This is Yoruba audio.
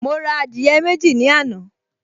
Mo ra adìyẹ méjì ní àná